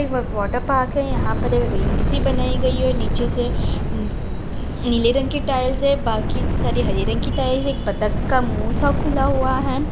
एक water park है यहाँ पर एक रिंग्स सी बनी हुई है नीचे से नीले रंग की टाइल्स है बाकि सभी हरे रंग की टाइल्स बत्तक का मुँह सा खुला है।